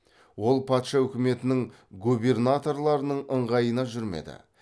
ол патша өкіметінің губернаторларының ыңғайына жүрмеді